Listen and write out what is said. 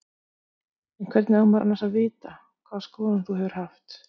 En hvernig á maður annars að vita, hvaða skoðun þú hefur haft?